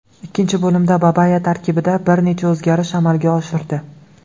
Ikkinchi bo‘limda Babaya tarkibda bir necha o‘zgarish amalga oshirdi.